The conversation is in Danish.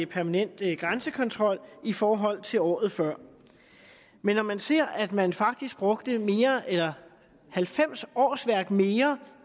permanent grænsekontrol i forhold til året før men når man ser at man faktisk brugte halvfems årsværk mere